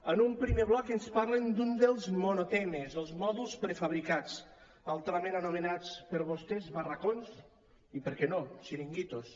en un primer bloc ens parlen d’un dels monotemes els mòduls prefabricats altrament anomenats per vostès barracons i per què no xiringuitos